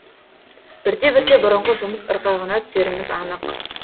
бірте бірте бұрынғы жұмыс ырғағына түсеріміз анық